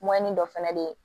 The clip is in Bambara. dɔ fɛnɛ be yen